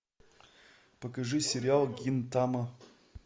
покажи сериал гинтама